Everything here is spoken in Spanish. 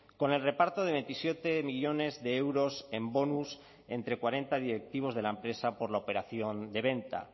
con el reparto de veintisiete millónes de euros en bonus entre cuarenta directivos de la empresa por la operación de venta